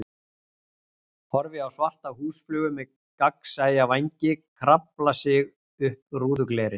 Horfi á svarta húsflugu með gagnsæja vængi krafla sig upp rúðuglerið.